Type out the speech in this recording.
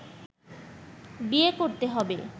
বিয়ে করতে হবে